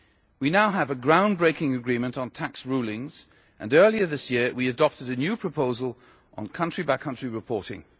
We now have a ground breaking agreement on tax rulings, and earlier this year we adopted a new proposal on country by country reporting.